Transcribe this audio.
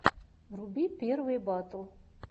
вруби первые батл